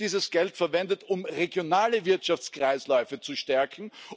Wird dieses Geld verwendet, um regionale Wirtschaftskreisläufe zu stärken?